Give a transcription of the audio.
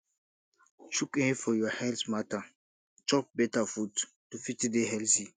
chook eye for your health matter chop better food to fit dey healthy